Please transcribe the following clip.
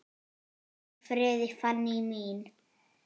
Hvíl í friði, Fanný mín.